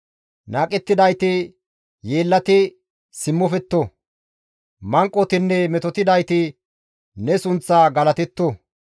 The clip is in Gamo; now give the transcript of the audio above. Naaqettidayti yeellati simmofetto; manqotinne metotidayti ne sunththa galatetto.